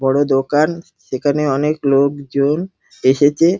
বড় দোকান সেখানে অনেক লোকজন এসেছে।